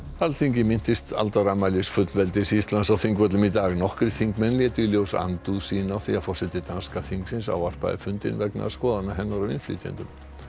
Alþingi minntist aldarafmælis fullveldis Íslands á Þingvöllum í dag nokkrir þingmenn létu í ljós andúð sína á því að forseti danska þingsins ávarpaði fundinn vegna skoðana hennar á innflytjendum